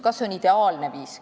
Kas see on ideaalne viis?